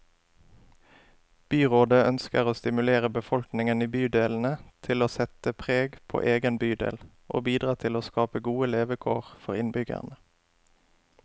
Byrådet ønsker å stimulere befolkningen i bydelene til å sette preg på egen bydel, og bidra til å skape gode levekår for innbyggerne.